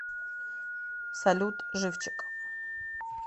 салют живчик